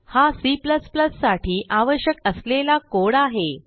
हा C साठी आवश्यक असलेला कोड आहे